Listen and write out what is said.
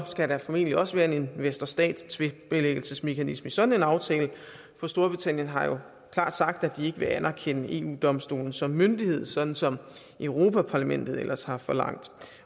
skal der formentlig også være en investor stat tvistbilæggelsesmekanisme i sådan en aftale for storbritannien har jo klart sagt at de ikke vil anerkende eu domstolen som myndighed sådan som europa parlamentet ellers har forlangt